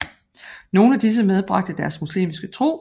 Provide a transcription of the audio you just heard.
Nogle af disse medbragte deres muslimske tro